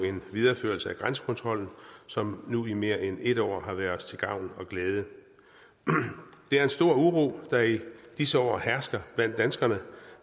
videreførelsen af grænsekontrollen som nu i mere end en år har været os til gavn og glæde det er en stor uro der i disse år hersker blandt danskerne